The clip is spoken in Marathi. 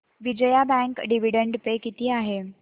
विजया बँक डिविडंड पे किती आहे